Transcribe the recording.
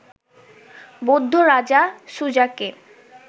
বৌদ্ধ রাজা, সুজাকে